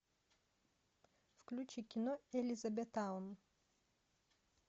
включи кино элизабеттаун